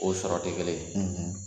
O sɔrɔ tɛ kelen ye,